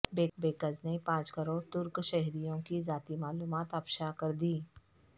hackers نے پانچ کروڑ ترک شہریوں کی ذاتی معلومات افشا کردیں